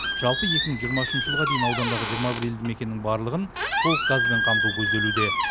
жалпы екі мың жиырма үшінші жылға дейін аудандағы жиырма бір елді мекеннің барлығын толық газбен қамту көзделуде